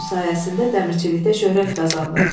Bunun sayəsində dəmirçilikdə şöhrət qazandım.